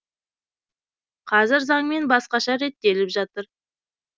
қазір заңмен басқаша реттеліп жатыр